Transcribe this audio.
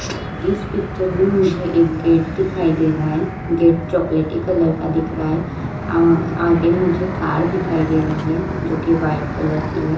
इस पिक्चर में मुझे एक गेट दिखाई दे रहा है। गेट चॉकलेटी कलर का दिख रहा है अअ आगे मुझे कार दिखाई दे रही है जो कि व्हाइट कलर की है।